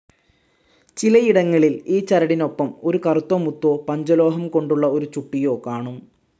ചിലയിടങ്ങളിൽ ഈ ചരടിനോപ്പം ഒരു കറുത്ത മുത്തോ, പഞ്ചലോഹം കൊണ്ടുള്ള ഒരു ചുട്ടിയോ കാണും.